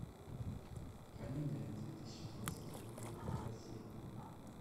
комедия две тысячи двадцатого года россия